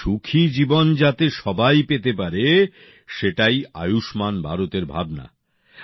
এই সুখী জীবন যাতে সবাই পেতে পারে সেটাই আয়ুষ্মান ভারত এর ভাবনা